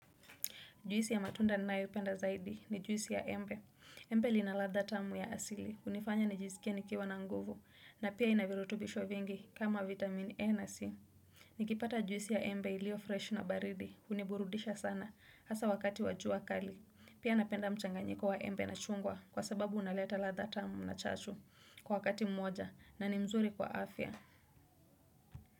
Juisi ya matunda nayoipenda zaidi ni juisi ya embe. Embe lina ladha tamu ya asili. Hunifanya nijizikie nikiwa na nguvu na pia ina virutubisho vingi kama vitamin A na C. Nikipata juisi ya embe ilio fresh na baridi huniburudisha sana hasa wakati wa jua kali. Pia napenda mchanganyiko wa embe na chungwa kwa sababu unaleta ladha tamu na chachu kwa wakati mmoja na ni nzuri kwa afya.